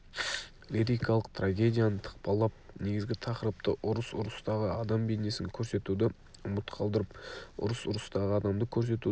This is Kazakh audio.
лирикалық-трагедияны тықпалап негізгі тақырыпты ұрыс ұрыстағы адам бейнесін көрсетуді ұмыт қалдырып ұрыс ұрыстағы адамды көрсетудің